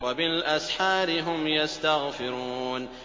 وَبِالْأَسْحَارِ هُمْ يَسْتَغْفِرُونَ